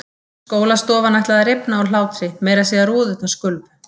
Skólastofan ætlaði að rifna af hlátri, meira að segja rúðurnar skulfu.